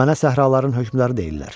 Mənə səhraların hökmdarı deyirlər.